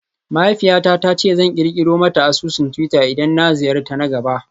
Mahaifiyata ta ce zan kirkiro mata asusun twitter idan na ziyarta na gaba